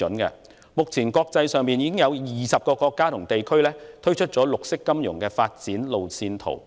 現時，已有20個國家和地區推出了綠色金融發展路線圖。